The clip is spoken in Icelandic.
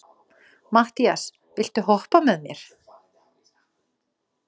Mattías, viltu hoppa með mér?